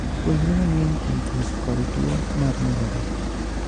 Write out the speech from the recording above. Puonjri mang'eny kuom thieth kod tuo mar nyarogno.